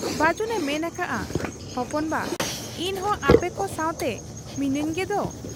ᱵᱟᱹᱡᱩᱱ ᱮ ᱢᱮᱱ ᱟᱠᱟᱜ ᱟ, 'ᱦᱚᱯᱚᱱ ᱵᱟ ! ᱤᱧᱦᱚᱸ ᱟᱯᱮᱠᱚ ᱥᱟᱶᱛᱮ ᱢᱤᱱᱟᱹᱧ ᱜᱮᱫᱚ ᱾